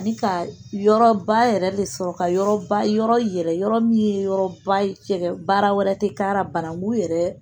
Ni ka yɔrɔ ba yɛrɛ de sɔrɔ ka yɔrɔ ba yɔrɔ yɛrɛ yɔrɔ min ye yɔrɔ ba ye baara wɛrɛ tɛ k'a la banakun yɛrɛ